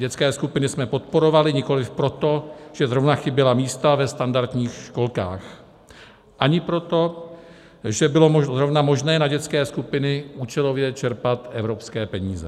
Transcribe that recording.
Dětské skupiny jsme podporovali nikoliv proto, že zrovna chyběla místa ve standardních školkách, ani proto, že bylo zrovna možné na dětské skupiny účelově čerpat evropské peníze.